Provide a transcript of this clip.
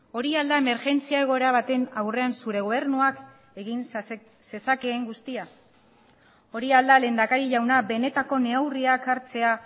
hori al da emergentzia egoera baten aurrean zure gobernuak egin zezakeen guztia hori al da lehendakari jauna benetako neurriak hartzea